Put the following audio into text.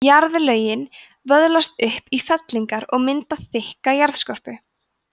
jarðlögin vöðlast upp í fellingar og mynda þykka jarðskorpu